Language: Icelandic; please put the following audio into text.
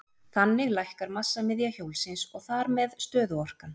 Þannig lækkar massamiðja hjólsins og þar með stöðuorkan.